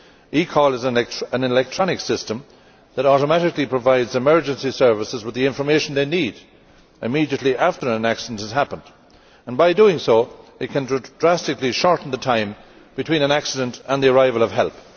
eCall is an electronic system that automatically provides emergency services with the information they need immediately after an accident has happened, and by doing so it can drastically shorten the time between an accident and the arrival of help.